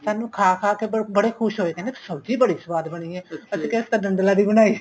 ਸਾਨੂੰ ਖਾ ਖਾ ਕੇ ਬੜੇ ਖ਼ੁਸ਼ ਹੋਏ ਕਹਿੰਦੇ ਸਬਜ਼ੀ ਬੜੀ ਸੁਆਦ ਬਣੀ ਏ ਅਸੀਂ ਕਿਹਾ ਅਸੀਂ ਤਾਂ ਡੱਡਲਾ ਦੀ ਬਣਾਈ ਏ